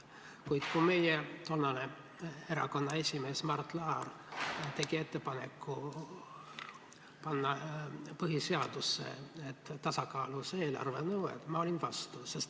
Kuid kui meie tollane erakonna esimees Mart Laar tegi ettepaneku panna põhiseadusesse tasakaalus eelarve nõue, siis ma olin vastu.